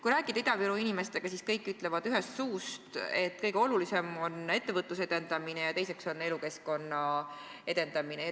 Kui rääkida Ida-Viru inimestega, siis kõik ütlevad nagu ühest suust, et kõige olulisem on ettevõtluse edendamine ja teiseks oluline on elukeskkonna edendamine.